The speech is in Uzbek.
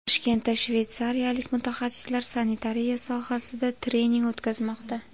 Toshkentda shveysariyalik mutaxassislar sanitariya sohasida trening o‘tkazmoqda.